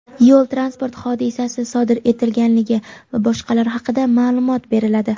yo‘l transport hodisasi sodir etilganligi va boshqalar haqida ma’lumot beriladi.